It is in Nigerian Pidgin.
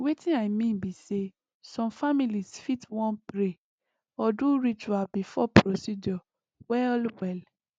wetin i mean be say some families fit wan pray or do ritual before procedure well well